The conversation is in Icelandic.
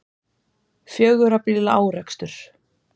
Fjögurra bíla árekstur